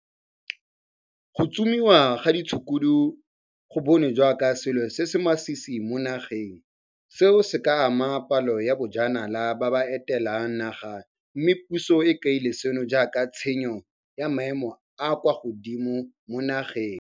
Go tsomiwa ga ditshukudu go bonwe jaaka selo se se masisi mo nageng, seo se ka amang palo ya bajanala ba ba etelang naga mme puso e kaile seno jaaka tshenyo ya maemo a kwa godimo mo nageng.